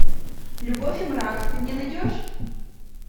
любовь и мрак ты мне найдешь